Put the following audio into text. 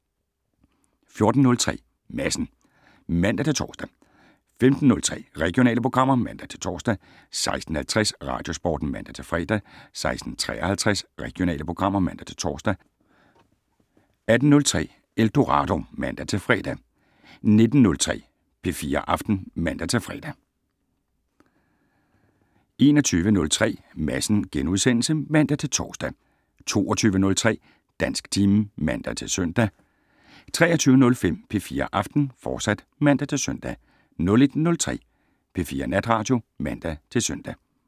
14:03: Madsen (man-tor) 15:03: Regionale programmer (man-tor) 16:50: Radiosporten (man-fre) 16:53: Regionale programmer (man-tor) 18:03: Eldorado (man-fre) 19:03: P4 Aften (man-fre) 21:03: Madsen *(man-tor) 22:03: Dansktimen (man-søn) 23:05: P4 Aften, fortsat (man-søn) 01:03: P4 Natradio (man-søn)